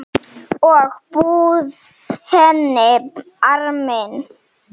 Og bauð henni arminn.